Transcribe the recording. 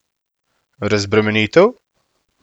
Razbremenitev?